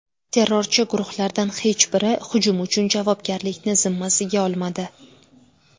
Terrorchi guruhlardan hech biri hujum uchun javobgarlikni zimmasiga olmadi.